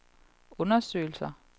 undersøgelser